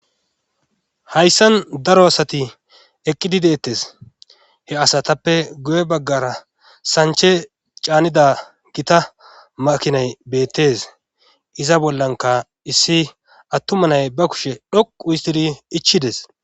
hayssan daro asati eqqidi deettes he asatappe guye baggara sanche caanida gita makinay beettes iza bollanka issi attumanay ba kushe dhoqu histidi ichides